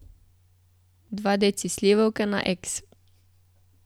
Dva deci slivovke na eks.